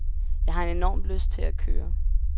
Jeg har enorm lyst til at køre.